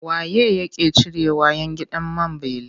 Wa ye yake cirewa 'yan gidan man beli?